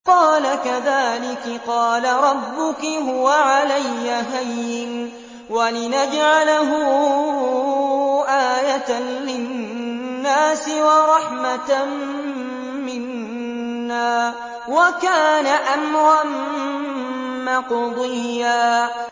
قَالَ كَذَٰلِكِ قَالَ رَبُّكِ هُوَ عَلَيَّ هَيِّنٌ ۖ وَلِنَجْعَلَهُ آيَةً لِّلنَّاسِ وَرَحْمَةً مِّنَّا ۚ وَكَانَ أَمْرًا مَّقْضِيًّا